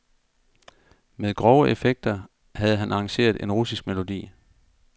Med grove effekter havde han arrangeret en russisk melodi.